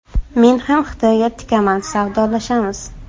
Men ham Xitoyga tikaman, savdolashamiz.